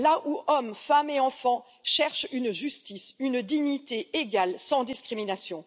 Là où hommes, femmes et enfants cherchent une justice, une dignité égale, sans discrimination.